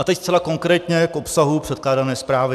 A teď zcela konkrétně k obsahu předkládané zprávy.